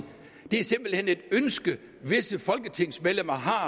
det er simpelt hen et ønske visse folketingsmedlemmer har